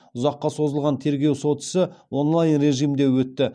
ұзаққа созылған тергеу сот ісі онлайн режимінде өтті